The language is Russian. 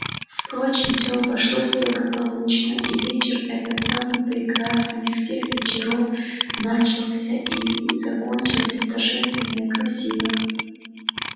впрочем все обошлось благополучно и вечер этот самый прекрасный из всех вечеров начался и закончился торжественно и красиво